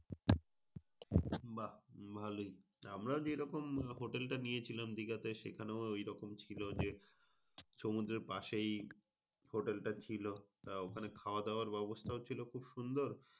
বাহ ভালোই। আমরাও যেইরকম আহ hotel টা নিয়েছিলাম দিঘাতে সেখানেও ঐরকম ছিল যে, সমুদ্রের পাশেই hotel টা ছিল। আহ ওখানে খাওয়া-দাওয়ার ব্যবস্থা ও ছিল খুব সুন্দর।